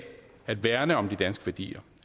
at værne om de danske værdier